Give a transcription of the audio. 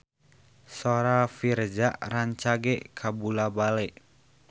Sora Virzha rancage kabula-bale